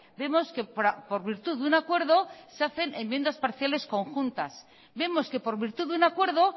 vemos que por virtud de un acuerdo se hacen enmiendas parciales conjuntas vemos que por virtud de un acuerdo